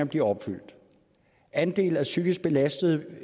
bliver opfyldt andelen af psykisk belastede